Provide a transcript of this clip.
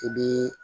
I bi